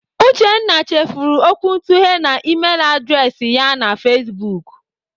Uchenna chefuru okwuntughe na Email adreesị ya na Facebook.